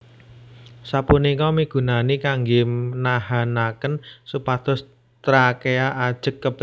Sapunika migunani kanggè nahanakén supados trakea ajeg kabuka